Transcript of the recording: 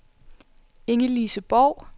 Ingelise Borg